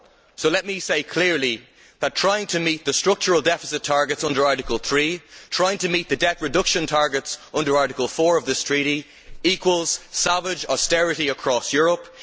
So let me say clearly that trying to meet the structural deficit targets under Article 3 and the debt reduction targets under Article 4 of this treaty equals savage austerity across Europe.